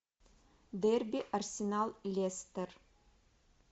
дерби арсенал лестер